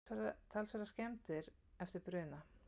Talsverðar skemmdir eftir bruna